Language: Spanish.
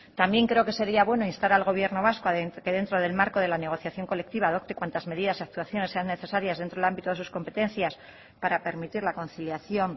también creo que sería bueno instar al gobierno vasco a que dentro del marco de la negociación colectiva adopte cuantas medidas y actuaciones sean necesarias dentro del ámbito de sus competencias para permitir la conciliación